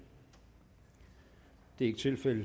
det er ikke tilfældet